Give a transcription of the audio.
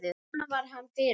Svona var hann fyrir okkur.